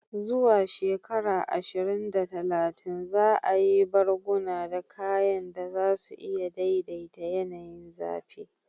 Zuwa shekara ashirin da talatin, za a yi barguna da kayan da za su iya daidaita yanayin zafi.